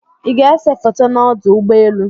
Ị́ ga-ese foto na ọdụ ụgbọelu?